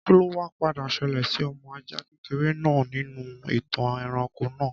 Kí ló wa padà ṣẹlẹ̀ sí ọmọ ajá kékeré náà nínú ìtàn ẹranko náà